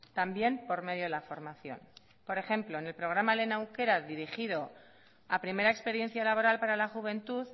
también por medio de la formación por ejemplo en el programa lehen aukera dirigido a primera experiencia laboral para la juventud